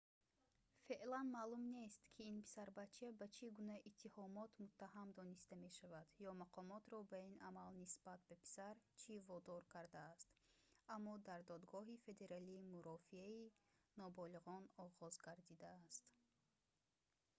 феълан маълум нест ки ин писарбача ба чӣ гуна иттиҳомот муттаҳам дониста мешаванд ё мақомотро ба ин амал нисбат ба писар чӣ водор кардааст аммо дар додгоҳи федералӣ мурофиаи ноболиғон оғоз гардидааст